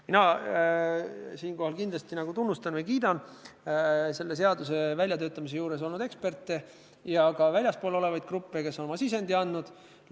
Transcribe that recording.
Mina siinkohal kindlasti tunnustan või kiidan selle seaduse väljatöötamise juures olnud eksperte ja ka väljaspool olevaid gruppe, kes oma sisendi on andnud.